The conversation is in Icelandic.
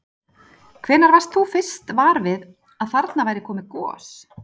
Hvenær varst þú fyrst var við að þarna væri komið gos?